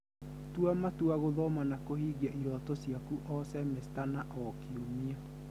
Tua matua gũthoma na kũhingia iroto ciaku o,semesta na o,kiumia